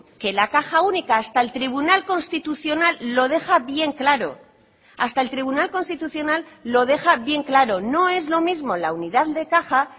que la caja única hasta el tribunal constitucional lo deja bien claro hasta el tribunal constitucional lo deja bien claro no es lo mismo la unidad de caja